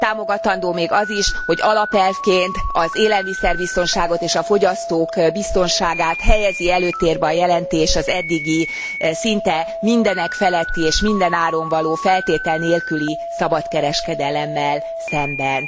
Támogatandó még az is, hogy alapelvként az élelmiszerbiztonságot és a fogyasztók biztonságát helyezi előtérbe a jelentés az eddigi szinte mindenekfeletti és mindenáron való, feltétel nélküli szabadkereskedelemmel szemben.